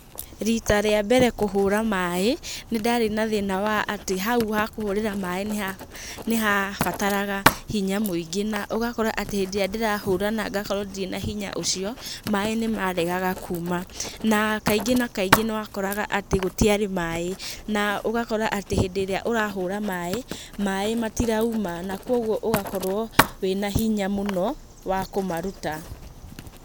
Rita rĩambere kũhũra maĩ, nĩ ndarĩ na thĩna wa atĩ hau ha kũhũrĩra maĩ nĩ ha nĩ ha bataraga hinya mũingĩ na ũgakora atĩ hĩndĩ ĩrĩa ndĩrahũra na ngakorwo ndirĩ na hinya ũcio, maĩ nĩ maregaga kuuma, na kaingĩ na kaingĩ nĩ wakoraga atĩ gũtiarĩ maĩ, na ũgakora atĩ hĩndĩ ĩrĩa ũrahũra maĩ, maĩ matirauma na kwoguo ũgakorwo wĩna hinya mũno wa kũmaruta.